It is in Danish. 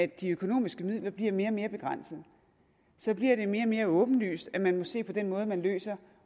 de økonomiske midler bliver mere og mere begrænsede bliver det mere og mere åbenlyst at man må se på den måde man løser